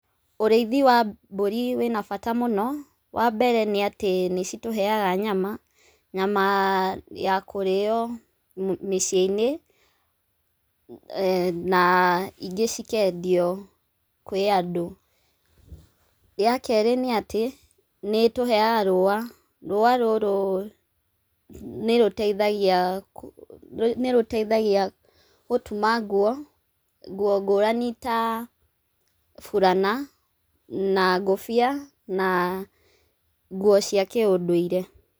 Ũrĩithi wa mbũri wĩna bata mũno, wa mbere nĩ atĩ citũheyaga nyama nyama ya kũrĩo mĩciĩ-inĩ na ingĩ cikendio kũrĩ andũ. Ya kerĩ nĩ atĩ nĩ ĩtũheyaga rũwa, rũwa rũrũ nĩ rũteithagia gũtuma nguo ngũrani ta burana na ngũbia na nguo cia kĩũndũire.